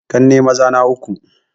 Ƙanne maza na uku ne